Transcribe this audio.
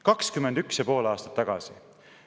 21 ja pool aastat tagasi!